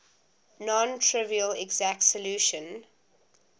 non trivial exact solution